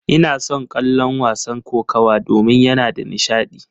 Ina son kallon wasan kokawa domin yana da nishadi.